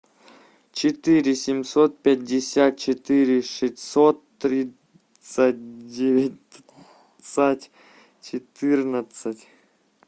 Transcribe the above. четыре семьсот пятьдесят четыре шестьсот тридцать девять четырнадцать